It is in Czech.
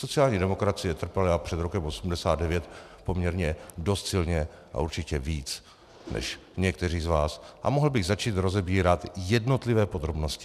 Sociální demokracie trpěla před rokem 1989 poměrně dost silně a určitě víc než někteří z vás, a mohl bych začít rozebírat jednotlivé podrobnosti.